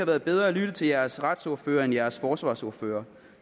været bedre at lytte til jeres retsordførere end jeres forsvarsordførere